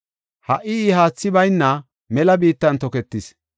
Ha77i I haathi bayna mela biittan toketis.